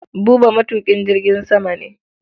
Buba matuƙin jirgin sama ne.